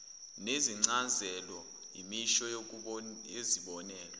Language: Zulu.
nezincazelo imisho yezibonelo